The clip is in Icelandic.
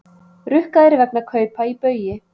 Rukkaðir vegna kaupa í Baugi